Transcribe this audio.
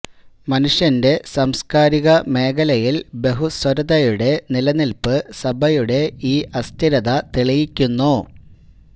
മനുഷ്യന്റെ സാംസ്കാരിക മേഖലയിൽ ബഹുസ്വരതയുടെ നിലനിൽപ്പ് സഭയുടെ ഈ അസ്ഥിരത തെളിയിക്കുന്നു